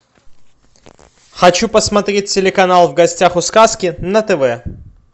хочу посмотреть телеканал в гостях у сказки на тв